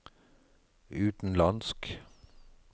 utenlandsk